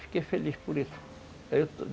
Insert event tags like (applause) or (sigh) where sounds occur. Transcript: Fiquei feliz por isso (unintelligible)